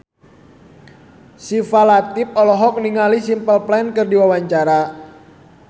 Syifa Latief olohok ningali Simple Plan keur diwawancara